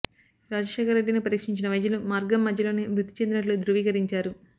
రాజశేఖర రెడ్డిని పరీక్షించిన వైద్యులు మార్గం మధ్యలోనే మృతి చెందినట్లు ధృవీకరించారు